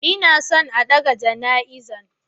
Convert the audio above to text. Inason a ɗaga jana izan.